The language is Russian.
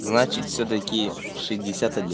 значит всё-таки шестьдесят один